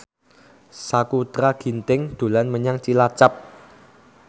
Sakutra Ginting dolan menyang Cilacap